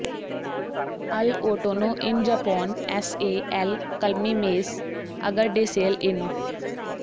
ਅਲ ਓਟੋਨੋ ਇਨ ਜਾਪੋਨ ਐਸ ਏ ਐਲ ਕਲਮੀ ਮੇਸ ਅਗਰਡੇਸੇਲ ਏਨੋ